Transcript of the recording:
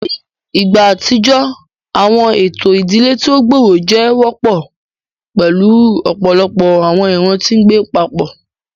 Ni igba atijọ, awọn eto idile ti o gbooro jẹ wọpọ, pẹlu ọpọlọpọ awọn iran ti ngbe papọ.